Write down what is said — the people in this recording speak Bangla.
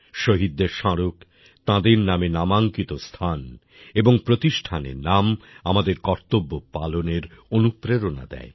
শহীদদের স্মারক তাঁদের নামে নামাঙ্কিত স্থান এবং প্রতিষ্ঠানের নাম আমাদের কর্তব্য পালনের অনুপ্রেরণা দেয়